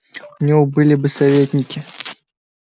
у него были бы советники